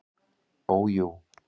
Ó jú.